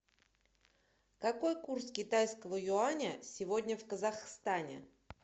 какой курс китайского юаня сегодня в казахстане